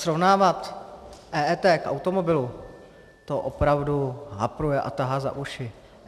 Srovnávat EET k automobilu, to opravdu hapruje a tahá za ušil.